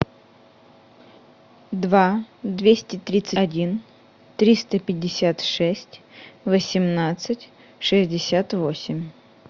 два двести тридцать один триста пятьдесят шесть восемнадцать шестьдесят восемь